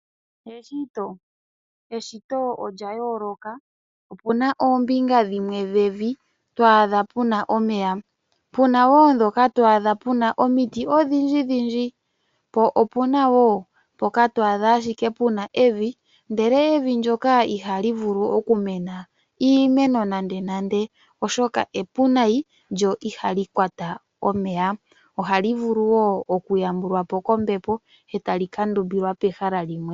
Eshito olya yooloka. Opuna oombinga dhimwe dhevi twaadha puna omeya , po opuna wo ndhoka twaadha puna omiti odhindjidhindji, po opuna wo mpoka twaadha ashike puna evi, ndele evi ndyoka ihali vulu okumena iimeno nandenande, oshoka epu nayi lyo ihali vulu okukwata omeya . Ohali vulu wo okuyambulwapo kombepo, etali ndumbilwa pehala limwe.